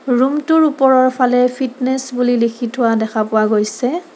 ৰুমটোৰ ওপৰৰফালে ফিটনেছ বুলি লিখি থোৱা দেখা পোৱা গৈছে।